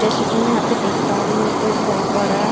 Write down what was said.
जैसे कि मैं यहाँ पे देख पा रही हूँ तो एक बहोत बड़ा --